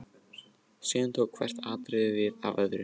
Síðan tók hvert atriðið við af öðru.